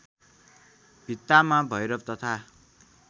भित्तामा भैरव तथा